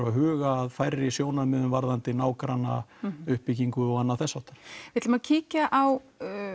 að huga að færri sjónarmiðum varðandi nágranna uppbyggingu og þess háttar við ætlum að kíkja á